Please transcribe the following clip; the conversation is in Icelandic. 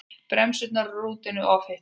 Bremsur rútunnar ofhitnuðu